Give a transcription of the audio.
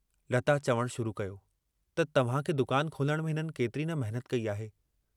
लता चवणु शुरू कयो त तव्हां खे दुकान खोलण में हिननि केतिरी न महिनत कई आहे।